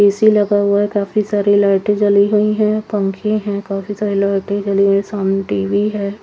AC लगा हुआ है काफी सारी लाइटे जली हुई है पंखे है काफी सारी लाइटे जली हुई है सामने टी_वि है।